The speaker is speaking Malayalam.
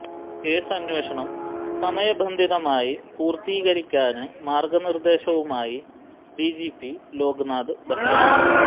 കേസ് അന്വേഷണം സമയ ബന്ധിതമായി പൂര്ത്തികരിക്കാന് മാര്ഗ്ഗനിര്ദ്ദേശവുമായി ഡിജിപി ലോക്നാഥ് ബെഹറ